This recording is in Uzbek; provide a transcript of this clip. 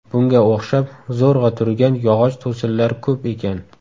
Bunga o‘xshab zo‘rg‘a turgan yog‘och to‘sinlar ko‘p ekan.